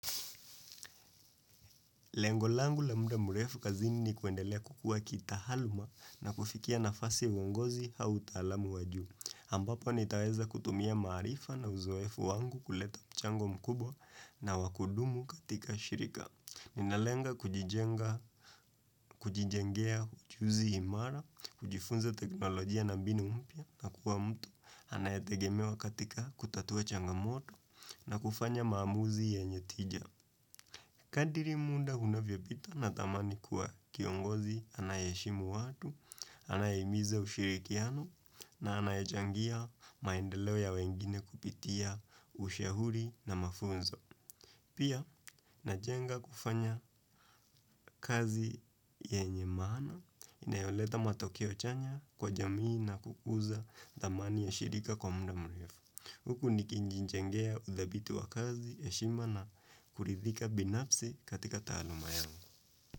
Lengo langu la muda mrefu kazini ni kuendelea kukuwa kitahaluma na kufikia nafasi mwongozi au utaalamu wa juu. Ambapo nitaweza kutumia maarifa na uzoefu wangu kuleta mchango mkubwa na wa kudumu katika shirika. Ninalenga kujijengea ujuzi imara, kujifunza teknolojia na mbinu mpya na kuwa mtu, anayetegemewa katika kutatua changamoto na kufanya maamuzi yenye tija. Kadiri muda unavyo pita natamani kuwa kiongozi anaye heshimu watu, anaye himiza ushirikiano, na anaye changia maendeleo ya wengine kupitia ushauri na mafunzo. Pia, najenga kufanya kazi yenye maana, inayoleta matokeo chanya kwa jamii na kukuza tamani ya shirika kwa muda mrefu. Huku nikijijengea udhabitu wa kazi, heshima na, kuridhika binafsi katika taaluma yangu.